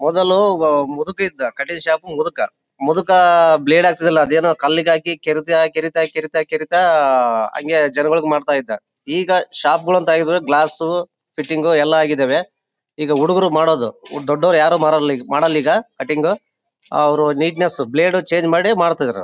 ಮೊದಲು ಒಬ್ಬ ಮುದುಕ ಇದ್ದ ಕಟಿಂಗ್ ಶಾಪ್ ಮುದುಕ ಮುದುಕ ಬ್ಲೇಡ್ ಹಾಕ್ತಿದ್ದಲ್ಲ ಅದೇನೋ ಕಲ್ಲಿಗ್ ಹಾಕಿ ಕೆರಿತ ಕೆರಿತ ಕೆರಿತಾಜನಗಳಿಗೆ ಮಾಡ್ತಾ ಇದ್ದಾ ಈಗ ಶಾಪ್ ಗಳನ್ನ ತೆಗೆದು ಗ್ಲಾಸು ಫಿಟ್ಟಿಂಗು ಎಲ್ಲಾ ಆಗಿದೆ ಈಗ ಹುಡುಗ್ರು ಮಾಡೋದು ದೊಡ್ಡೋರ್ ಯಾರು ಮಾಡಲ್ಲ ಈಗ ಕಟ್ಟಿಂಗು ಅವ್ರು ನೀಟ್ನೆಸ್ ಬ್ಲೇಡ್ ಚೇಂಜ್ ಮಾಡಿ ಮಾಡ್ತಾ ಇದ್ರು .